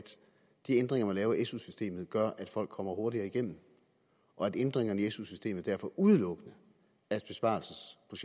de ændringer man laver af su systemet gør at folk kommer hurtigere igennem og at ændringerne i su systemet derfor udelukkende er